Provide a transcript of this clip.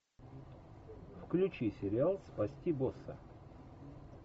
включи сериал спасти босса